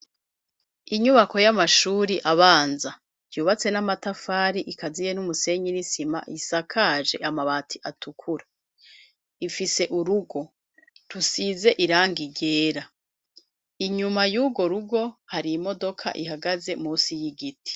Inyubako y'amashuri abanza yubatse n'amatafari ikaziye n'umusenyi n'isima yisakaje amabati atukura ifise urugo rusize irangi ryera inyuma y'ugo rugo hari imodoka ihagaze munsi y'igiti.